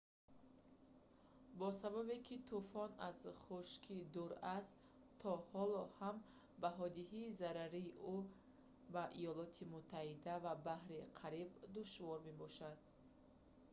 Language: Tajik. бо сабабе ки тӯфон аз хушкӣ дур аст то ҳоло ҳам баҳодиҳии зарари ӯ ба иёлоти муттаҳида ва баҳри кариб душвор мебошад